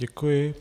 Děkuji.